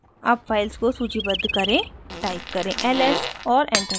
अब files को सूचीबद्ध करें टाइप करें ls और enter दबाएँ